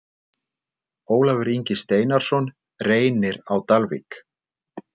Ólafur Ingi Steinarsson Reynir Á Dalvík